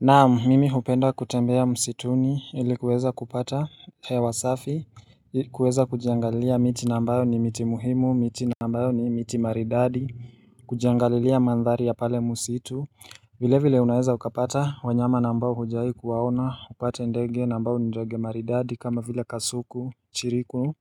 Naam mimi hupenda kutembea msituni ili kuweza kupata hewa safi kuweza kujiangalia miti na ambayo ni miti muhimu miti ambayo ni miti maridadi kujiangalilia mandhari ya pale msitu vile vile unaweza ukapata wanyama na ambao hujawahi kuwaona, upate ndege na ambao ndege maridadi kama vile kasuku, chiriku